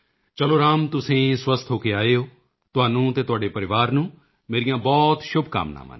ਚਲੋ ਰਾਮ ਤੁਸੀਂ ਸਵਸਥ ਹੋ ਕੇ ਆਏ ਹੋ ਤੁਹਾਨੂੰ ਅਤੇ ਤੁਹਾਡੇ ਪਰਿਵਾਰ ਨੂੰ ਮੇਰੀਆਂ ਬਹੁਤ ਸ਼ੁਭਕਾਮਨਾਵਾਂ ਨੇ